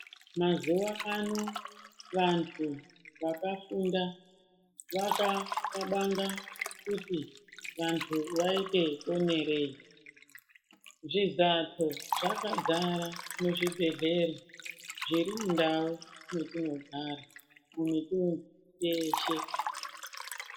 Mazuwa ano vantu vakafunda vakaxabanga kuti vantu vaite ponerei. Zvizahlo zvakazara muzvibhedhlera zviri mundau mwetinogara mumitunhu peshe.